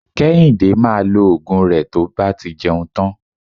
Kéhìndé maa lo Ògùn rẹ tí ó bá ti jẹun tán